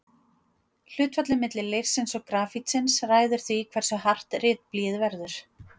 Hlutfallið milli leirsins og grafítsins ræður því hversu hart ritblýið verður.